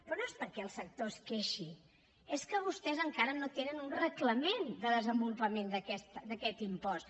però no és perquè el sector es queixi és que vostès encara no tenen un reglament de desenvolupament d’aquest impost